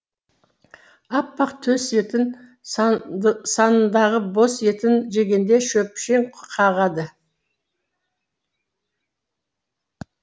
аппақ төс етін санындағы бос етін жегенде шөпшең қағады